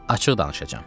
Açıq danışacam.